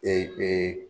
Ee ee